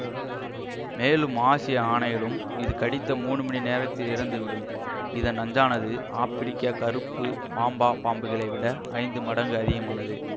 மேலும் ஆசிய ஆனைகளும் இது கடித்த மூணு மணி நேரத்தில் இறந்து விடும்இதன் நஞ்சானது ஆப்பிரிக்க கறுப்பு மாம்பா பாம்புகளை விட ஐந்து மடங்கு அதிகமானது